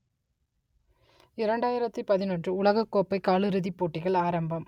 இரண்டாயிரத்து பதினொன்று உலகக்கோப்பை காலிறுதிப் போட்டிகள் ஆரம்பம்